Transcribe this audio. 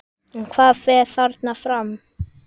En hvað fer þarna fram?